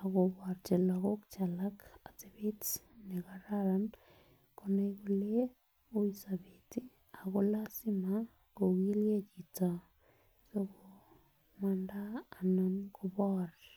akokoji Loko alak otebet nekaran konai kole ui sobet ako lasima kokijgee chito sikomanda ana koboru.